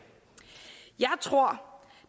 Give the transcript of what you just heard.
jeg tror